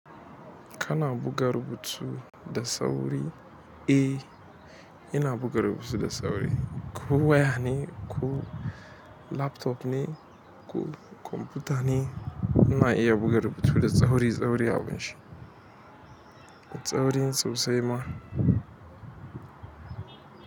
Kana buga rubuta da sauri? Eh, ina buga rubutu da sauri. Ko waya ne ko laptop ne ko kwamfuta ne, ina iya buga rubutu da sauri-sauri abunshi. Da saurin sosai ma.